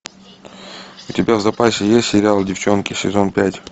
у тебя в запасе есть сериал девчонки сезон пять